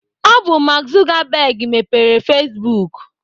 Ọ bụ Mark Zuckerberg mepere Facebook.